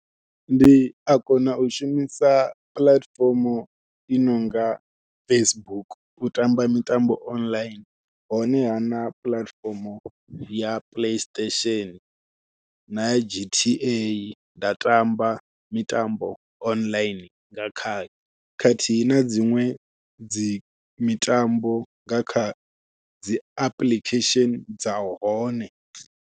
Ndi a kona u shumisa puḽatifomo i nonga Facebook u tamba mitambo online, honeha na puḽatifomo ya Play Station naya G_T_A nda tamba mitambo online nga kha khathihi na dziṅwe dzi mitambo nga kha dzi apuḽikhesheni dza hone.